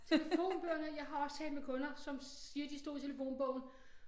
Telefonbøgerne jeg har også talt med kunder som siger de stod i telefonbogen